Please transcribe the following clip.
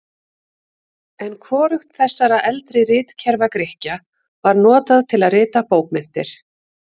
En hvorugt þessara eldri ritkerfa Grikkja var notað til að rita bókmenntir.